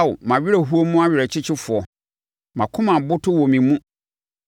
Ao mʼawerɛhoɔ mu ɔwerɛkyekyefoɔ, mʼakoma aboto wɔ me mu.